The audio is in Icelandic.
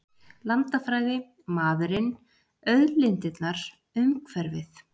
Landafræði- maðurinn, auðlindirnar, umhverfið.